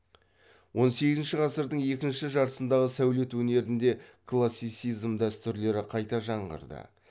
он сегізінші ғасырдың екінші жартысындағы сәулет өнерінде классицизм дәстүрлері қайта жаңғырды